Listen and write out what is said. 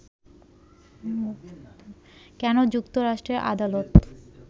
কেন যুক্তরাষ্ট্রের আদালত